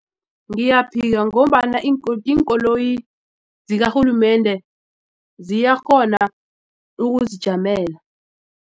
Ngiyaphika ngombana iinkoloyi zikarhulumende ziyakghona ukuzijamela.